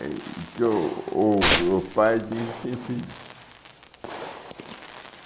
e que o o o pai tem filhos.